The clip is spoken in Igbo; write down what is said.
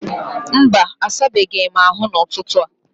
Mba, asabeghị m ahụ n'ụtụtụ a